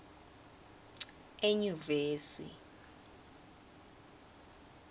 enyuvesi